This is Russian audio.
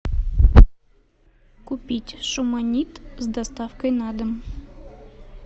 купить шуманит с доставкой на дом